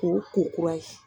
K'o ko kura ye.